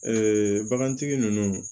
bagantigi ninnu